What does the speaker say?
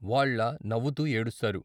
వాళ్ళ నవ్వుతూ ఏడుస్తారు.